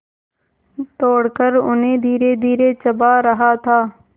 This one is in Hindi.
तोड़कर उन्हें धीरेधीरे चबा रहा था